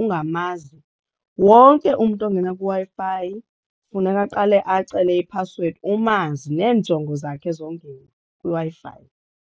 ungamazi wonke umntu ongena kwiWi-fI funeka aqale acele iphasiwedi umazi neenjongo zakhe zongena kwiWi-Fi.